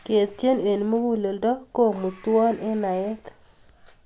ketien eng mukuleldo komutwo eng naet